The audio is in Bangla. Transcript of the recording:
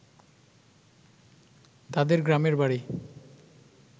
তাদের গ্রামের বাড়ি